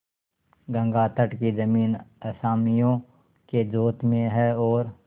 गंगातट की जमीन असामियों के जोत में है और